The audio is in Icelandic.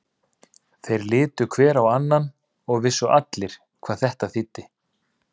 Þeir litu hver á annan og vissu allir hvað þetta þýddi.